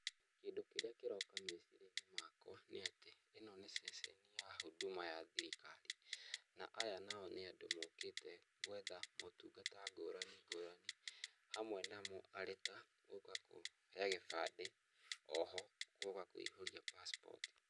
Kĩndũ kĩrĩa kĩroka meciria-inĩ makwa nĩ atĩ, ĩno ceceni ya huduma ya thirikari na aya nao nĩ andũ mokĩte gũetha matungata ngũrani ngũrani, hamwe namu arĩta gũka kũoya gĩbandĩ, o ho gũka kũihũria passport.